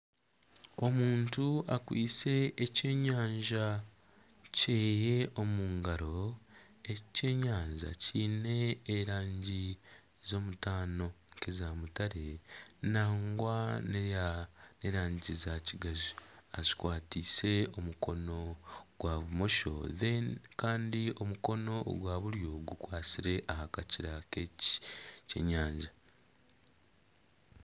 Omuntu akwaitse ekyenyanja kye omu ngaro eki kyenyanja kiine erangi z'omutaano, nk'eya mutare nangwa n'eya n'erangi za kigaju akikwatiise omukono ogwa bumosho kandi omukono ogwa buryo gukwatsire aha kakira k'ekyenyanja.